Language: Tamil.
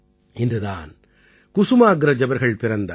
இன்று தான் குசுமாக்ரஜ் அவர்கள் பிறந்தார்